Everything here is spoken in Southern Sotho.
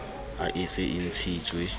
ha e se e ntshitswe